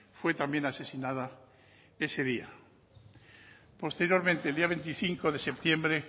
fue también asesinada ese día posteriormente el día veinticinco de septiembre